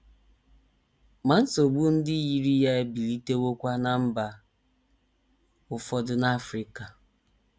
Ma nsogbu ndị yiri ya ebilitewokwa ná mba ụfọdụ n’Africa.